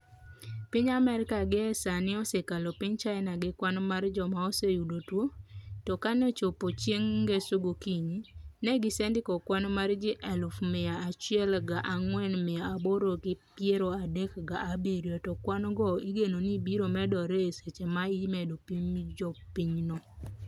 piny Amerika gie sani osekalo piny China gi kwan mar joma oseyudo tuo, to kaneochopo chieng ngeso gokinyi, ne gisendiko kwan mar ji eluf mia achiel ga angwen mia aboro gi peiro adek ga abirio to kwan go igeno ni biro medre e seche ma imedo pim jo pinyno